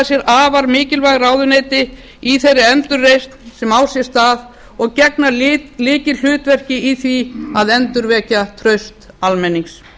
sér afar mikilvæg ráðuneyti í þeirri endurreisn sem á sér stað og gegna lykilhlutverki í því að endurvekja traust almennings